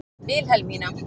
Vilhelmína